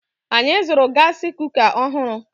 Anyị zụrụ gaasi kuka ọhụrụ.